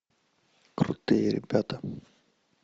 крутые ребята